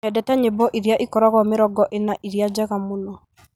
nyendete nyĩmbo iria ikoragwo mĩrongo ĩna ĩrĩa njega mũno